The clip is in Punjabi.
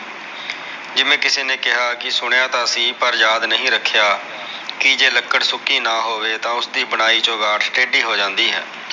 ਜਿਵੇ ਕਿਸੇ ਨੇ ਕਿਹਾ ਕੇ ਸੁਣਿਆ ਤਾ ਸੀ ਪਰ ਯਾਦ ਨਹੀ ਰਖਿਆ ਕੇ ਜੇ ਲਕੜ ਸੁਕੀ ਨਾ ਹੋਵੇ ਤਾ ਓਸ ਦੀ ਬਣਾਈ ਚੋਗਾਠ ਟੇਡੀ ਹੋ ਜਾਂਦੀ ਹੈ